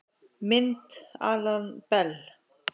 Mynd Alan Bell